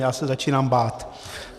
Já se začínám bát.